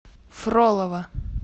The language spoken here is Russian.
фролово